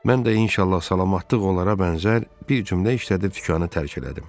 Mən də inşallah salamatlıq onlara bənzər bir cümlə işlədib dükkanı tərk elədim.